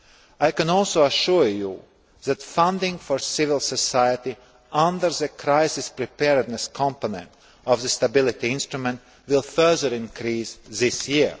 I can also assure you that funding for civil society under the crisis preparedness component of the stability instrument will further increase this year.